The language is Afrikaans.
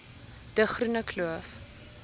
de groene kloof